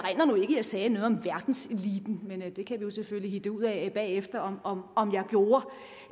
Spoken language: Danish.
jeg sagde noget om verdenseliten men det kan vi jo selvfølgelig hitte ud af bagefter om om jeg gjorde